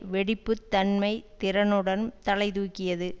வெடிப்பு தன்மை திறனுடன் தலை தூக்கியது